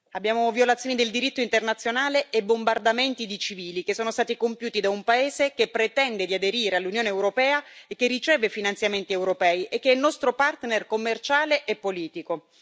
Abbiamo violazioni del diritto internazionale e bombardamenti di civili, che sono stati compiuti da un paese che pretende di aderire all'Unione europea e che riceve finanziamenti europei e che è il nostro partner commerciale e politico.